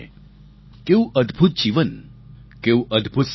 કેવું અદભૂત જીવન કેવું અદભૂત સમર્પણ